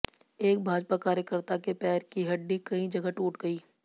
एक भाजपा कार्यकर्त्ता के पैर की हड्डी कई जगह टूट गई